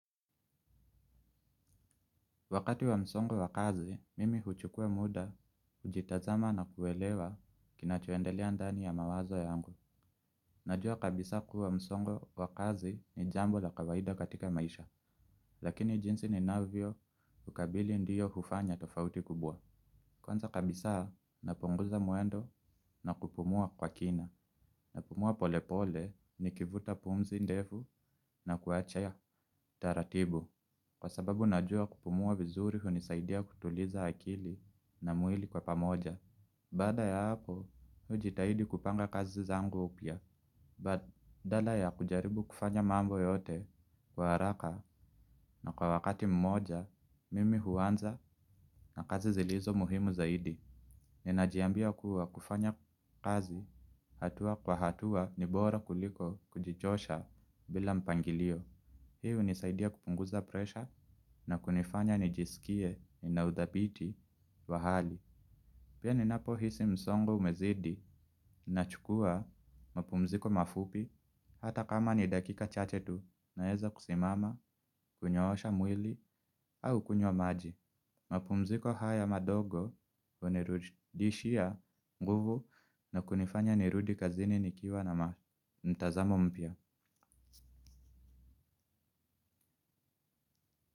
Wakati wa msongo wa kazi mimi huchukua muda kujitazama na kuelewa kinachoendelea ndani ya mawazo yangu. Najua kabisa kuwa msongo wa kazi ni jambo la kawaida katika maisha. Lakini jinsi ni navio ukabili ndiyo hufanya tofauti kubwa. Kwanza kabisa napunguza muendo na kupumua kwa kina. Napumua polepole ni kivuta pumzi ndefu na kuachaya taratibu. Kwa sababu najua kupumuwa vizuri hunisaidia kutuliza akili na muili kwa pamoja. Bada ya hapo hujitahidi kupanga kazi zangu upia. Badala ya kujaribu kufanya mambo yote kwa haraka. Na kwa wakati mmoja mimi huanza na kazi zilizo muhimu zaidi. Ninajiambia kuwa kufanya kazi hatua kwa hatua nibora kuliko kujichosha bila mpangilio. Hii unisaidia kupunguza presha na kunifanya nijisikie nina udapiti wa hali. Pia ninapo hisi msongo umezidi na chukua mapumziko mafupi. Hata kama ni dakika chachetu naheza kusimama kunyosha mwili au kunywa maji. Mapumziko haya madogo unirudishia nguvu na kunifanya nirudi kazini nikiwa na mtazamo mpia.